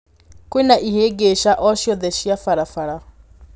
kwĩna ĩhĩngĩca o ciothe cia barabara